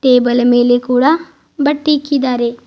Table ಮೇಲೆ ಕೂಡಾ ಬಟ್ಟೆ ಇಕ್ಕಿದಾರೆ.